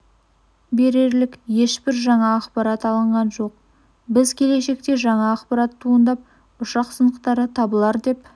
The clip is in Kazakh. берерлік ешбір жаңа ақпарат алынған жоқ біз келешекте жаңа ақпарат туындап ұшақ сынықтары табылар деп